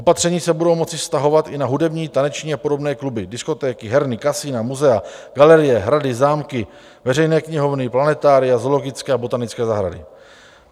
Opatření se budou moci vztahovat i na hudební, taneční a podobné kluby, diskotéky, herny, kasina, muzea, galerie, hrady, zámky, veřejné knihovny, planetária, zoologické a botanické zahrady.